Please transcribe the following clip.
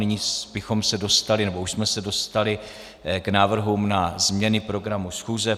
Nyní bychom se dostali, nebo už jsme se dostali k návrhům na změny programu schůze.